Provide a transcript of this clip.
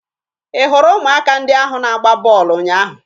Ị hụrụ ụmụaka ndị ahụ na-agba bọọlụ ụnyaahụ?